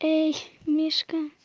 эй мишка